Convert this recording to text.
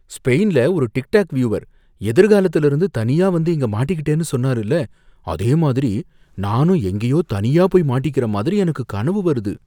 ஸ்பெயின்ல ஒரு TikTok viewer எதிர்காலத்துல இருந்து தனியா வந்து இங்க மாட்டிக்கிட்டேன்னு சொன்னாருல, அதே மாதிரி நானும் எங்கேயோ தனியா போய் மாட்டிக்கற மாதிரி எனக்கு கனவு வருது.